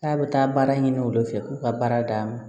K'a bɛ taa baara ɲini olu de fɛ k'u ka baara d'an ma